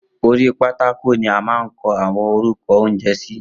Orí pátákò ni a máa ń kọ àwọn orúkọ oúnjẹ sí